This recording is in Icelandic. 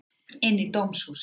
Inn í dómhúsið.